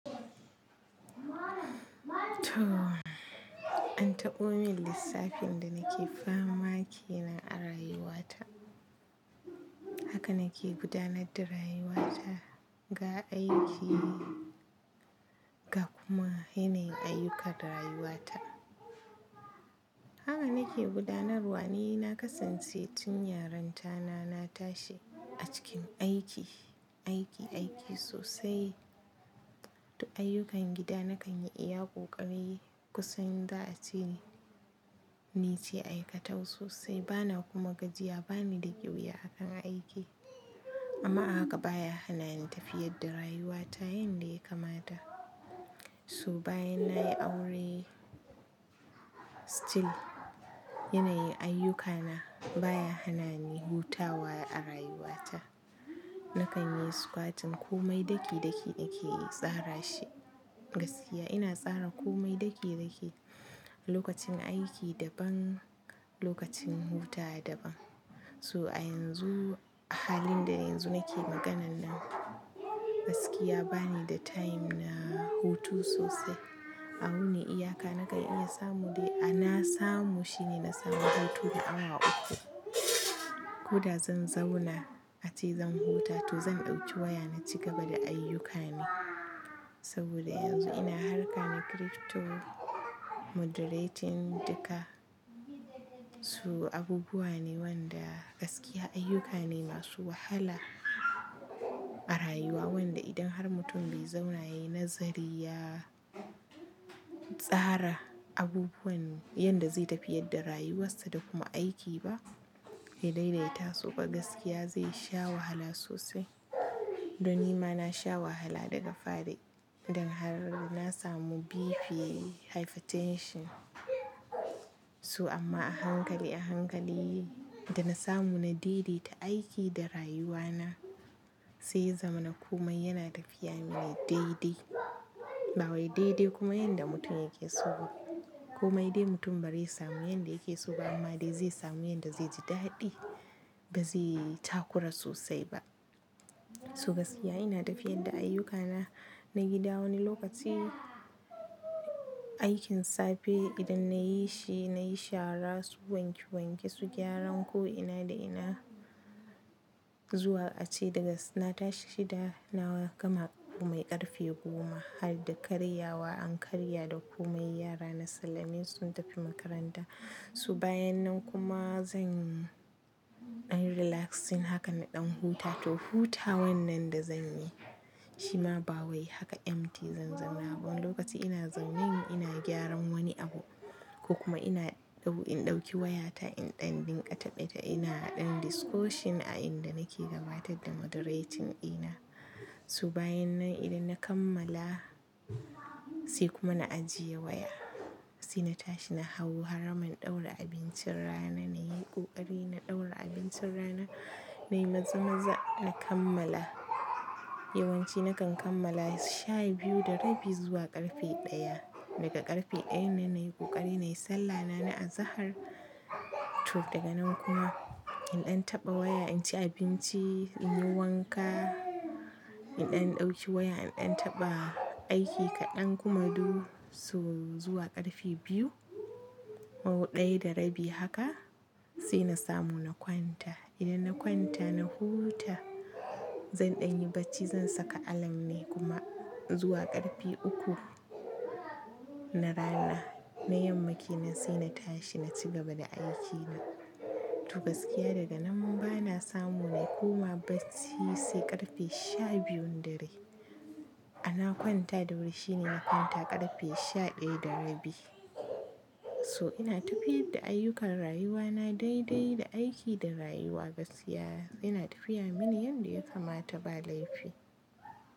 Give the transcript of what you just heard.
To, an taɓo min lissafin da nake fama ke nan a rayuwata. Haka nake gudanar da rayuwata ga aiki ga kuma yanayin ayyukan rayuwata. Haka nake gudanarwa, ni na kasance tun yarin ta na na tashi a cikin aiki, aiki, aiki sosai. Duk ayyukan gida na kan yi iya ƙoƙari kusan za a ce ni ce aikatau sosai. Bana kuma gajiya, bani da ƙyuya akan aiki. Amma haka baya hana ni tafiyar da rayuwata yanda ya kamata. So bayan nayi aure still yanayin ayyukana baya hana ni hutawa a rayuwata. Na kan yi squatting komai daki daki nake tsara shi gaskiya. Ina tsara komai daki daki. Lokacin aiki daban, lokacin hutawa daban. So a yanzu, a halin da yanzu nake maganan nan gaskiya bani da time na hutu sosai. A wuni iyaka na kan iya samu dai a na samu shine na samu hutu na awa uku. Ko da zan zauna a ce zan huta to zan ɗauki waya na ci gaba da ayyukana. Saboda yanzu ina harka na crypto moderating duka. So abubuwa ne wanda gaskiya ayyuka ne masu wahala a rayuwa wanda idan har mutum bai zauna yayi nazari ya, tsara abubuwan yanda zai tafiyar da rayuwarsa da kuma aiki ba, ya daidai ta su ba gaskiya zai sha wahala sosai. Don nima na sha wahala daga fari dan har na samu BP hypertension. To amma a hankali a hankali da na samu na daidaita aiki da rayuwana sai ya zamana komai yana tafiya mini daidai. Ba wai daidai kuma yanda mutum yake so ba. Komai dai mutum bare ya samu yanda yake so ba amma dai zai samu yanda zai ji daɗi ba zai takura sosai ba. To gaskiya ina tafiyar da ayyukana na gida wani lokaci aikin safe idan na yi shi, na yi shara su wanke wanke su gyaran ko ina da ina zuwa a ce daga na tashi da na gama komai ƙarfe goma har da karya wa an karya da komai yara na sallame su sun tafi makaranta. So bayan nan kuma zan ɗanyi relaxing haka na ɗan huta to huta wannan da zan yi shi ma ba wai haka empty zanzauna ba wani lokaci ina zaunen ina gyaran wani abu ko kuma ina ɗau in ɗauki wayata in ɗan dinga taɓe taɓe ina ɗan discussion a inda nake gabatar da moderating ɗina. So bayan nan idan na kammala sai kuma na ajiye waya. Sai na tashi na hau haraman ɗaura abincin rana na yi ƙoƙari na ɗaura abincin rana na yi maza-maza na kammala. Yawanci na kan kammala sha biyu da rabi zuwa ƙarfe ɗaya. Daga ƙarfe ɗaya na yi ƙoƙari na yi sallah na na azahar. To daga nan kuma in ɗan taɓa waya in ci abinci, in yi wanka, in ɗan ɗauki waya in ɗan taɓa aiki kaɗan kuma duk so zuwa ƙarfe biyu ko ɗaya da rabi haka sai na samu na kwanta. Idan na kwanta na huta zan ɗanyi bacci zan saka alarm ne kuma zuwa ƙarfe uku na rana na yamma ke nan sai na tashi na ci gaba da aikina. To gaskiya daga nan ba na samu na koma bacci sai ƙarfe sha biyun dare. A na kwanta da wuri shine na kwanta ƙarfe sha ɗaya da rabi. So ina tafiyar da ayyukan rayuwana daidai da aiki da rayuwa gaskiya. Ina tafiya mini yanda ya kamata ba laifi.